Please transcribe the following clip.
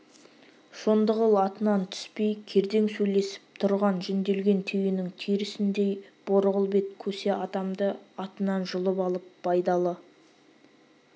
шондығұл атынан түспей кердең сөйлесіп тұрған жүнделген түйенің терісіндей борғыл бет көсе адамды атынан жұлып алып байдалы